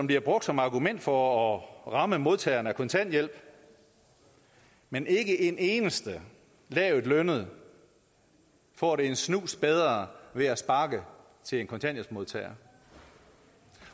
bliver brugt som argument for at ramme modtagerne af kontanthjælp men ikke en eneste lavtlønnet får det en snus bedre ved at sparke til en kontanthjælpsmodtager